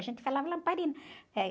A gente falava lamparina. Eh